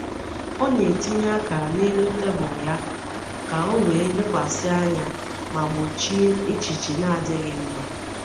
Ọ na-etinye akara n’elu tebụl ya ka ọ wee lekwasị anya ma gbochie echiche na-adịghị mma.